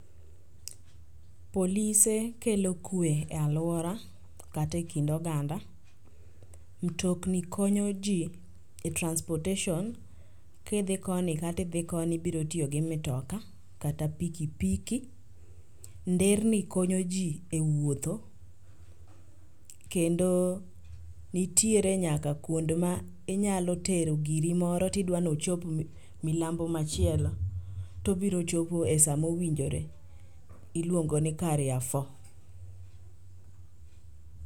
Polise kelo kwe e alwora kata e kind oganda. Mtokni konyo ji e transportation, kidhi koni kata idhi koni ibrotiyo gi mtoka kata pikipiki. Nderni konyo ji e wuotho kendo nitiere nyaka kuond ma inyalo tero giri moro tidwa nochop milambo machielo to obirochopo e sa mowinjore, iluongo ni carrefour.